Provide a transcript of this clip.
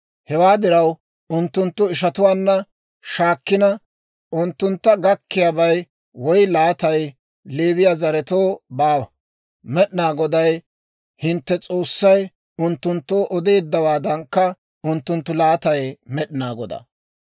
Hewaa diraw, unttunttu ishatuwaanna shaakkina, unttuntta gakkiyaabay woy laatay Leewiyaa zaretoo baawa; Med'inaa Goday hintte S'oossay unttunttoo odeeddawaadankka, unttunttu laatay Med'inaa Godaa.